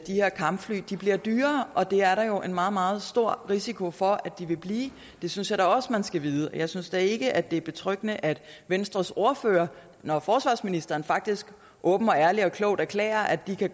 her kampfly bliver dyrere og det er der jo en meget meget stor risiko for at de vil blive det synes jeg da også man skal vide jeg synes da ikke at det er betryggende at venstres ordfører når forsvarsministeren faktisk åbent og ærligt og klogt erklærer at de her